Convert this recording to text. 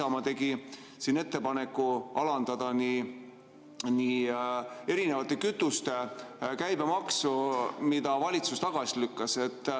Isamaa tegi ettepaneku alandada kütuste käibemaksu, valitsus lükkas selle tagasi.